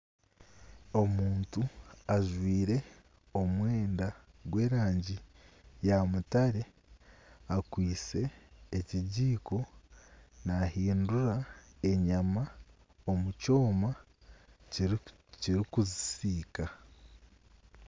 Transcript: Omuntu ajwire omwenda gw'erangi ya mutare, akwitse ekigiiko, naahindura enyama omu kyoma kirikuzisiika